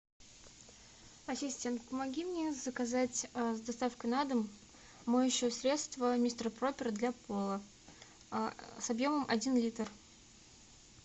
ассистент помоги мне заказать с доставкой на дом моющее средство мистер пропер для пола с объемом один литр